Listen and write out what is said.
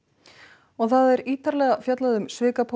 og það er ítarlega fjallað um